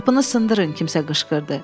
Qapını sındırın, kimsə qışqırdı.